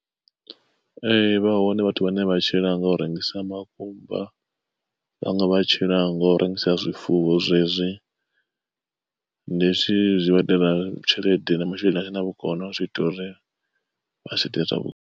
Ee vha hone vhathu vhane vha tshila nga u rengisa makumba, vhaṅwe vha tshila ngo u rengisa zwifuwo zwezwi. Ndi zwithu zwi vhaitela tshelede na masheleni a sina vhukono zwiita uri vha tshile zwavhuḓi.